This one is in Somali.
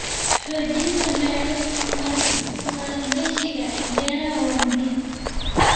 Xoojinta maalgashiga beeraha waa muhiim.